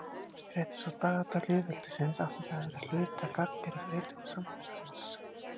Rétt eins og dagatal lýðveldisins átti það að vera hluti af gagngerri breytingu samfélagsins.